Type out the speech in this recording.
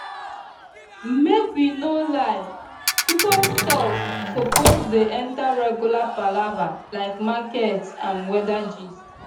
make we no lie pcos talk suppose dey enter regular palava like market and weather gist